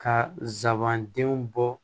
Ka zaabanden bɔ